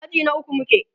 aji na ukwu muke